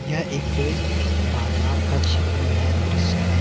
यह एक कोई बाजार का छवि है दृश्य है।